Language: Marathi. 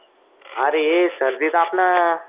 अरे सर्दी ताप ना.